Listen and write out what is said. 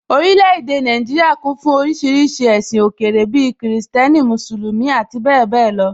Orílẹ̀ èdè Nàìjíríà kún fún oríṣiríṣi ẹ̀sìn òkèèrè bíi Kìrìsìtẹ́nì, Mùsùlùmí, ati bẹ́ẹ̀bẹ́ẹ̀ lọ